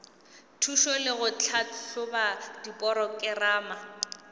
thušo le go tlhahloba diporokerama